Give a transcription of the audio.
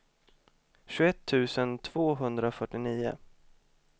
tjugoett tusen tvåhundrafyrtionio